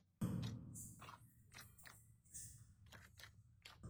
ore enchan e El nino naa keidim ayau dudui o moyiaritin o nkaitubulu